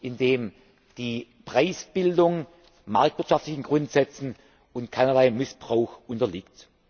in dem die Preisbildung marktwirtschaftlichen Grundsätzen und keinerlei Missbrauch unterliegt.